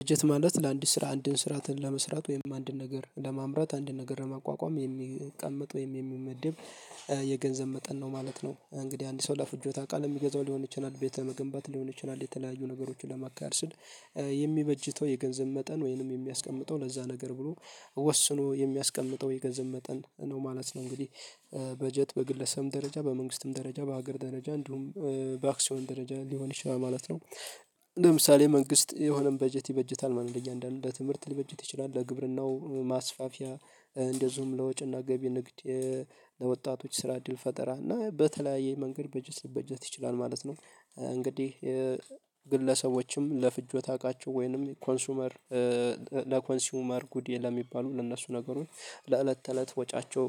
በጀት ማለት ለአንድ ስራ አንድን ስራትን ለመስራት ወይም አንድን ነገር ለማምራት አንድን ነገር ለማቋቋም የሚቀመጥ ወይም የሚመድብ የገንዘብ መጠን ነው ማለት ነው። እንግዲህ አንድ ሰው ለፍጆ ታውቃለህ የሚገዛው ሊሆን ይችላል ቤተ መገንባት ሊሆን ይችላል የተለያዩ ነገሮችን ለማካር ስል የሚበጅተው የገንዘብ መጠን ወይንም የሚያስቀምጠው ለዛ ነገር ብሎ ወስኖ የሚያስቀምጠው የገንዘብ መጠን ነው ማለት ነው እንግዲህ በጀት በግለሰብም ደረጃ በመንግስትም ደረጃ በሀገር ደረጃ እንዲሁም በአክሲዮን ደረጃ ሊሆን ይችላል ማለት ነው። ለምሳሌ መንግስት የሆነን በጀት ይበጀታል ለያንዳንዱ በትምህርት ሊበጀት ይችላል ለግብርናው ማስፋፊያ እንደዚሁም ለወጪና ገቢ ንግድ ለወጣቶች ስራ ድል ፈጠራ እና በተለያየ መንገድ በጀት ሊበጀት ይችላል ማለት ነው። እንግዲህ ግለሰቦችም ለፍጆት እቃቸው ወይንም ኮንሱመር ለኮንሲዩመር ጉድ ለሚባሉ ለእነሱ ነገሮች ለእለት ተእለት ወጪያቸው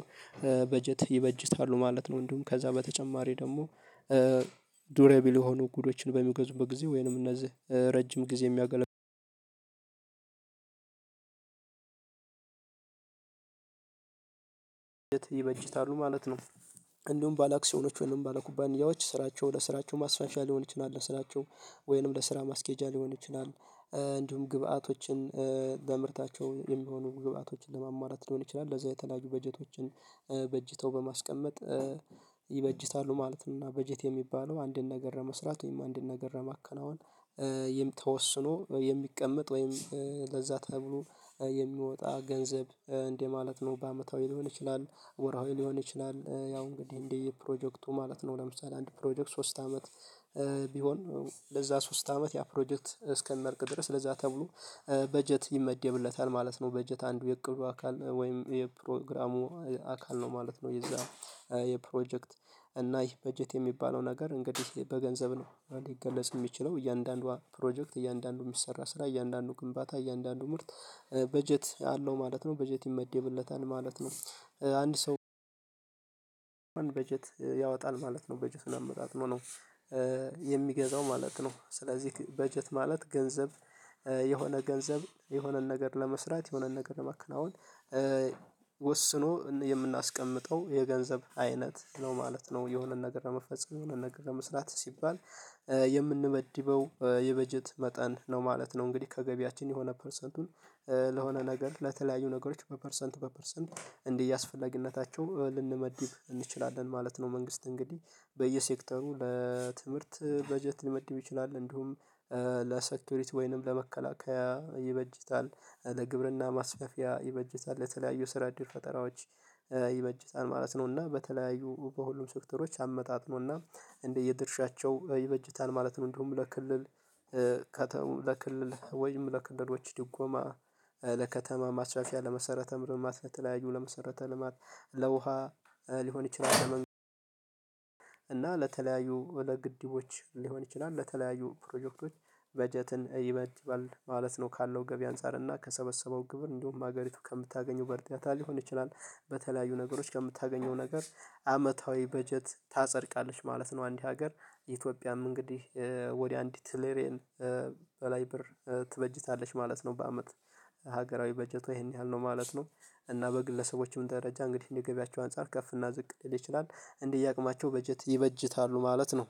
በጀት ይበጅታሉ ማለት ነው። እንድሁም ከዛ በተጨማሪ ደግሞ ዱረቢል የሆኑ ጉዶችን በሚገዙበት ጊዜ ወይንም እነዚህ ረጅም ጊዜ የሚያገለግሉ ይበጅታሉ ማለት ነው። እንደውም ባለአክሲዮኖች ወይንም ባለኩባንያዎች ስራቸው ለስራቸው ማስፋፊያ ሊሆን ይችላል ስራቸው ወይንም ለስራ ማስኬጃ ሊሆን ይችላል። እንዲሁም ግብአቶችን በምርታቸው የሚሆኑ ግብአቶችን ለሙዋሙላት ሊሆን ይችላል ለዛ የተለያዩ በጀቶችን በጅተው በማስቀመጥ ይበጅታሉ ማለት ነው። እና በጀት የሚባለው አንድን ነገር ለመስራት ወይም አንድን ነገር ለማከናወን ይህም ተወስኖ የሚቀመጥ ወይም ለዛ ተብሎ የሚወጣ ገንዘብ እንዲህ ማለት ነው በአመታዊ ሊሆን ይችላል ወራዊ ሊሆን ይችላል። ያው እንግዲህ እንዲህ ፕሮጀክቱ ማለት ነው ለምሳሌ አንድ ፕሮጀክት ሶስት አመት ቢሆን ለዛ ሶስት አመት ያ ፕሮጀክት እስከሚያልቅ ድረስ ለዛ ተብሎ በጀት ይመደብለታል ማለት ነው። በጀት አንዱ የቅዱ አካል ወይም የፕሮግራሙ አካል ነው ማለት ነው። የዛ የፕሮጀክት እና ይሄ በጀት የሚባለው ነገር እንግዲህ በገንዘብ ነው እንዴ ሊገለጽ የሚችለው እያንዳንዷ ፕሮጀክት እያንዳንዷ የሚሰራ ስራ እያንዳንዷ ግንባታ እያንዳንዱ ምርት በጀት አለው ማለት ነው። በጀት ይመደብለታል ማለት ነው አንድ ሰው በጀት ያወጣል ማለት ነው። በጀት አመጣጥ ነው የሚገዛው ማለት ነው። ስለዚህ በጀት ማለት ገንዘብ የሆነ ገንዘብ የሆነን ነገር ለመስራት የሆነን ነገር ለመከናወን ወስኖ የምናስቀምጠው የገንዘብ አይነት ነው ማለት ነው። የሆነ ነገር ለመፈጸም የሆነን ነገር ለመስራት ሲባል የምንበድበው የበጀት መጠን ነው ማለት ነው። እንግዲህ ከገቢያችን የሆነ ፐርሰንቱን ለሆነ ነገር ለተለያዩ ነገሮች በፐርሰንት በፐርሰንት እንዲህ እያስፈለግነታቸው ልንመዲብ እንችላለን ማለት ነው። መንግስት እንግዲህ በየሴክተሩ ለትምህርት በጀት ሊመድብ ይችላል እንዲሁም ለሰክሪቲ ወይንም ለመከላከያ ይበጅታል ለግብርና ማስፈፊያ ይበጅታል ለተለያዩ ስራ እድል ፈጠራዎች ይበጀታል ማለት ነው። እና በተለያዩ በሁሉም ሴክተሮች አመጣጥኖና እንደ የድርሻቸው ይበጅታል ማለት ነው። እንደውም ለክልል ለከተማ ለክልል ወይም ለክልሎች ድጎማ ለከተማ ማስፋፊያ ለመሰረተ ልማት ለተለያዩ ለመሰረተ ልማት ለውሃ ሊሆን ይችላል ለመንገድ እና ለተለያዩ ወደ ግድቦች ሊሆን ይችላል ለተለያዩ ፕሮጀክቶች በጀትን ይበጅታል ማለት ነው። ካለው ገቢ አንፃር እና ከሰበሰበው ግብር እንደውም ሀገሪቱ ከምታገኘው እርዳታ ሊሆን ይችላል በተለያዩ ነገሮች ከምታገኘው ነገር አመታዊ በጀት ታጸድቃለች ማለት ነው። አንድ ሀገር ኢትዮጵያም እንግዲህ ወደ አንዲት ትሪልየን በላይ ብር ትበጅታለች ማለት ነው። በአመት ሀገራዊ በጀቷ ይሄን ያህል ነው ማለት ነው። እና በግለሰቦችም ደረጃ እንግዲህ እንዲገቢያቸው አንፃር ከፍ እና ዝቅ ሊል ይችላል እንደየአቅማቸው በጀት ይበጅታሉ ማለት ነው